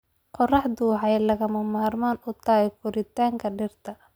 Qorraxdu waxay lagama maarmaan u tahay koritaanka dhirta.